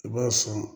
I b'a sɔn